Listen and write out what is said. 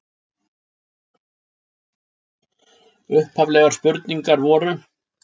Upphaflegar spurningar voru: